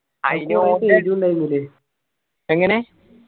എങ്ങനെ?